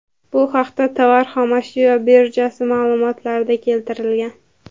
Bu haqda Tovar xom ashyo birjasi ma’lumotlarida keltirilgan .